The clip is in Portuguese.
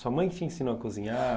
Sua mãe te ensinou a cozinhar?